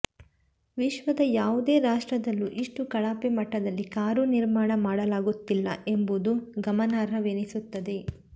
ವಿಶ್ವದ ಯಾವುದೇ ರಾಷ್ಟ್ರದಲ್ಲೂ ಇಷ್ಟು ಕಳಪೆ ಮಟ್ಟದಲ್ಲಿ ಕಾರು ನಿರ್ಮಾಣ ಮಾಡಲಾಗುತ್ತಿಲ್ಲ ಎಂಬುದು ಗಮನಾರ್ಹವೆನಿಸುತ್ತದೆ